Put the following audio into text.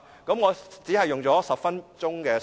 我只用了10分鐘發言時間。